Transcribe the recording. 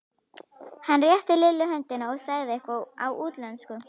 Hann rétti Lillu höndina og sagði eitthvað á útlensku.